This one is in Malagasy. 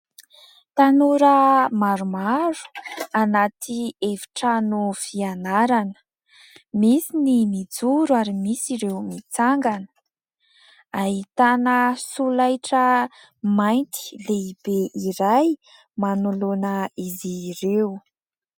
Tanora maromaro anaty efitrano fianarana, misy ny mijoro ary misy ireo mitsangana ; ahitana solaitra mainty lehibe iray manoloana izy ireo.